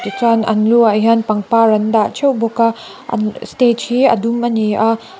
tichuan an lu ah hian pangpar an dah ṭheuh bawk a an stage hi a dum a ni a.